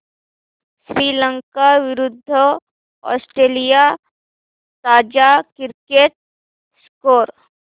श्रीलंका विरूद्ध ऑस्ट्रेलिया ताजा cricket score